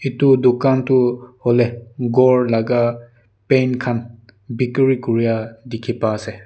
etu dukan tu hoile ghor laga paint khan bikiri kori a dekhi pai ase.